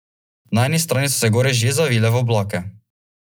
Na eni strani so se gore že zavile v oblake.